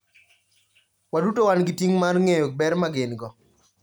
Waduto wan gi ting' mar ng'eyo ber ma gin - go.